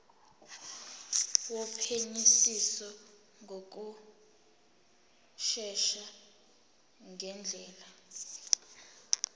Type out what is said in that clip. wophenyisiso ngokushesha ngendlela